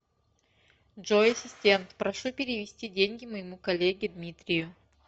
джой ассистент прошу перевести деньги моему коллеге дмитрию